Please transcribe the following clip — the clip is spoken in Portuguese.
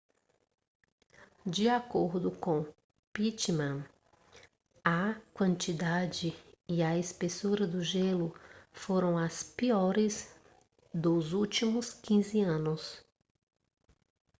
de acordo com pittman a quantidade e a espessura do gelo foram as piores dos últimos 15 anos